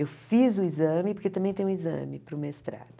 Eu fiz o exame, porque também tem um exame para o mestrado.